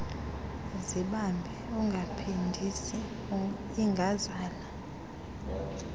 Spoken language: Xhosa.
zibambe ungaphindisi ingazala